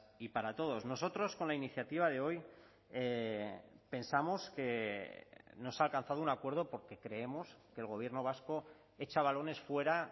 y para todos nosotros con la iniciativa de hoy pensamos que no se ha alcanzado un acuerdo porque creemos que el gobierno vasco echa balones fuera